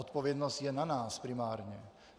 Odpovědnost je na nás, primárně.